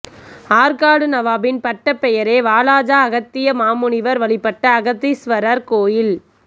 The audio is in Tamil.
ஆற்காடு நவாபின் பட்டப்பெயரே வாலாஜா அகத்திய மாமுனிவர் வழிபட்ட அகத்தீஸ்வரர் கோயில்